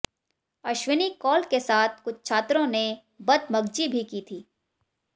अश्विनी कौल के साथ कुछ छात्रों ने बदमगजी भी की थी